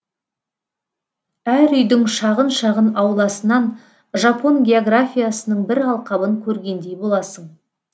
әр үйдің шағын шағын ауласынан жапон географиясының бір алқабын көргендей боласың